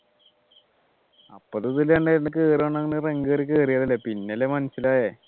അപ്പൊ കേറുവാണെങ്കിൽ പിന്നെയല്ലേ മനസ്സിലായെ